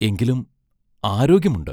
എങ്കിലും ആരോഗ്യമുണ്ട്.